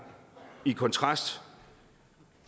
i kontrast